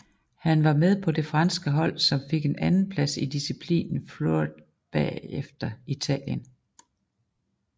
Han var med på det franske hold som fik en anden plads i disciplinen Fleuret bagefter Italien